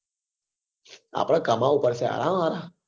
આપડે કમાવવું પડશે હા